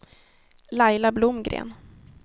Laila Blomgren